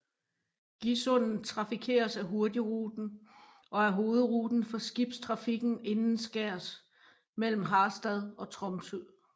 Gisundet trafikeres af Hurtigruten og er hovedruten for skibstrafikken indenskærs mellem Harstad og Tromsø